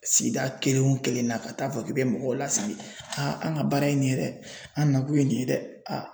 Sigida kelen o kelen na ka taa fɔ k'i bɛ mɔgɔw lasigi an ka baara ye nin ye dɛ an nakun ye nin ye dɛ